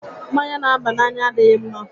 Mmanya n'àbá n'anya adịghị ḿmá